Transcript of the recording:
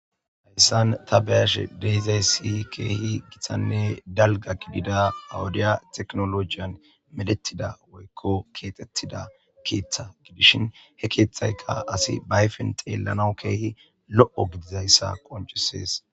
Hayssan ta beyashe dehizay siy keehi githanne dalga kidida awudiya teknolojiyan meletida woykko ketettida keeththa gidishin he keeththayka asi bayfen xeellanawu keehi lo7o gidizayssa qoncisees